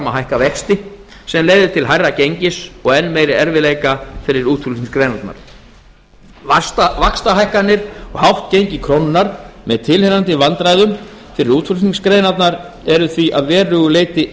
hækka vexti sem leiðir til hærra gengis og enn meiri erfiðleika fyrir útflutningsgreinarnar vaxtahækkanir og hátt gengi krónunnar með tilheyrandi vandræðum fyrir útflutningsgreinarnar eru því að verulegu leyti